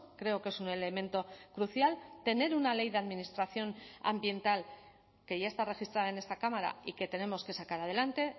creo que es un elemento crucial tener una ley de administración ambiental que ya está registrada en esta cámara y que tenemos que sacar adelante